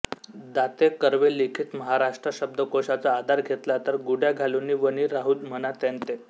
दाते कर्वे लिखित महाराष्ट्र शब्दकोशाचा आधार घेतला तर गुढ्या घालुनी वनीं राहूं म्हणा त्यातें